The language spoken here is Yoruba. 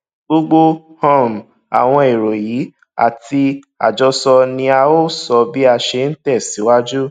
gbogbo um àwọn èrò yìí àti àjọsọ ni a óò sọ bí a ṣe ń tẹsíwájú